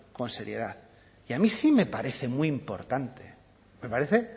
con seriedad y a mí sí me parece muy importante me parece